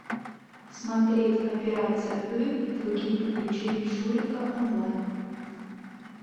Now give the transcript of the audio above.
смотреть операция ы и другие приключения шурика онлайн